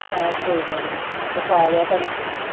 ਆਹੋ ਕੋਈ ਗੱਲ ਨਹੀਂ ਵਿਖਾ ਲਿਆ ਭੈਣੇ ਤੂੰ